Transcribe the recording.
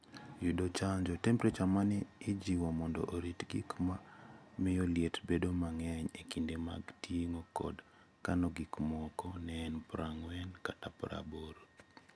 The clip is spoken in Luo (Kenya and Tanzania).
Yud chanjo. Temperature ma ne ojiw mondo orit gik ma miyo liet bedo mang'eny e kinde mag ting'o kod kano gik moko ne en 4oC - 8oC